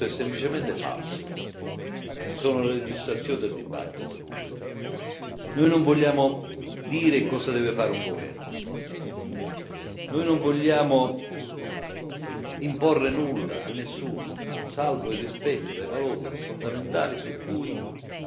Ci sono le registrazioni del dibattito. Noi non vogliamo dire cosa deve fare un governo. Noi non vogliamo imporre nulla a nessuno, salvo il rispetto dei valori fondamentali su cui si regge l'Unione europea.